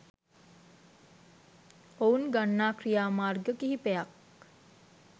ඔවුන් ගන්නා ක්‍රියාමාර්ග කිහිපයක්